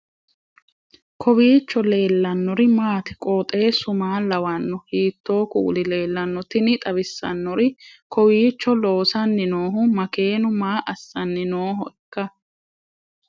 kowiicho leellannori maati ? qooxeessu maa lawaanno ? hiitoo kuuli leellanno ? tini xawissannori kowiicho loosanni noohu makeenu maa assanni noohoiikka